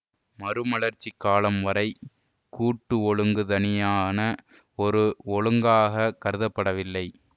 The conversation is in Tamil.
மறுமலர்ச்சிக் காலம் வரை கூட்டு ஒழுங்கு தனியான ஒரு ஒழுங்காகக் கருதப்படவில்லை